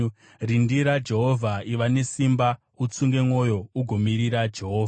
Rindira Jehovha; iva nesimba, utsunge mwoyo ugomirira Jehovha.